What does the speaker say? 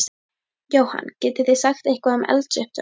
Jóhann: Getið þið sagt eitthvað um eldsupptök?